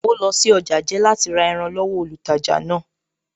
Ó lọ sí ọjà jẹ́ láti ra ẹran lọ́wọ olùtajà náà